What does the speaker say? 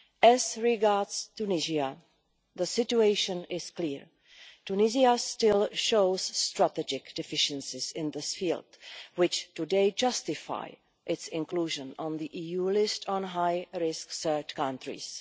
As regards Tunisia, the situation is clear. Tunisia still shows strategic deficiencies in this field, which today justify its inclusion on the EU list of high risk third countries.